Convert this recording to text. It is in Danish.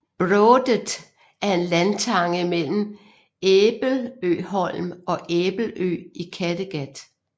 Brådet er en landtange mellem Æbeløholm og Æbelø i Kattegat